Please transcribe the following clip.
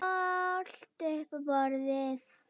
Allt upp á borðið?